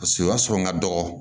Paseke o y'a sɔrɔ n ka dɔgɔ